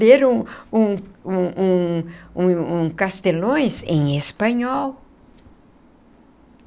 Ler um um um um um um Castelões em espanhol.